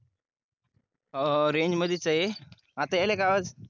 हो हो रेंजमध्येच आहे आता यायला का आवाज